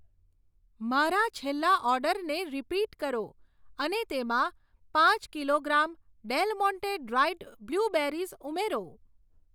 મારા છેલ્લા ઓર્ડરને રીપીટ કરો અને તેમાં પાંચ kilogram Del Monte dried blueberries ઉમેરો.